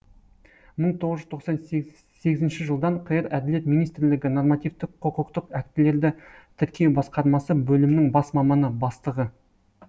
мың тоғыз жүз тоқсан сегізінші жылдан қр әділет министрлігі нормативтік құқықтық актілерді тіркеу басқармасы бөлімінің бас маманы бастығы